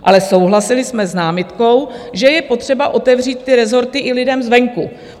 Ale souhlasili jsme s námitkou, že je potřeba otevřít ty rezorty i lidem zvenku.